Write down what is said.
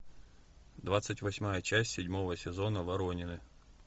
двадцать восьмая часть седьмого сезона воронины